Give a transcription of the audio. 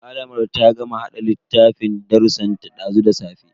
Malamar ta gama hada littafin darrusan ta dazu da safe.